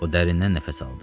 O dərindən nəfəs aldı.